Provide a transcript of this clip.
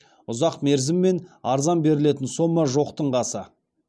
ұзақ мерзіммен арзан берілетін сома жоқтың қасы